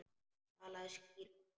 Talaðu skýrar.